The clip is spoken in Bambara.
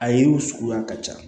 A yiriw suguya ka ca